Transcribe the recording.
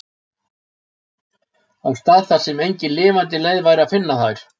Á stað þar sem engin lifandi leið væri að finna þær.